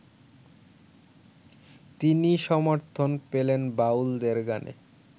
তিনি সমর্থন পেলেন বাউলদের গানে